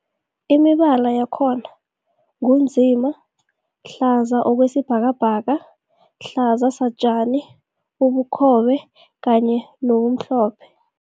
Imibala yakhona ngu nzima, hlaza okwesibhakabhaka, hlaza satjani, ubukhobe kanye nomhlophe.